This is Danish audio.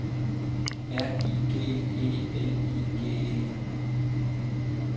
R I G E L I G E